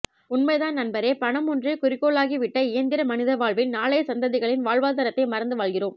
உண்மைதான் நண்பரே பணம் ஒன்றே குறிக்கோளாகி விட்ட இயந்திர மனித வாழ்வில் நாளைய சந்ததிகளின் வாழ்வாதாரத்தை மறந்து வாழ்கிறோம்